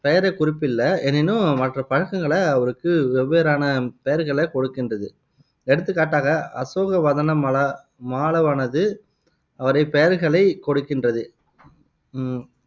பெயரைக் குறிப்பிலை எனினும், மற்ற பழங்கங்களை அவருக்கு வெவ்வேறான பெயர்களைக் கொடுக்கின்றது எடுத்துக்காட்டாக அசோகவதனமல மாலவனது அவரை பெயர்களை கொடுக்கின்றது உம்